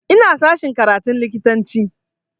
Ina sashen karatun likitanci